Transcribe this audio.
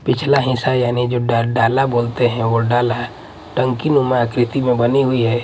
पिछला हिस्सा यानी जो डा डाला बोलते हैं वो डाला टंकीनुमा आकृति में बनी हुई है।